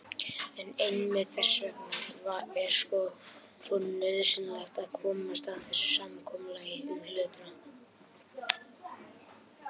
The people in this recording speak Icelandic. En einmitt þess vegna er svo nauðsynlegt að komast að samkomulagi um hlutina.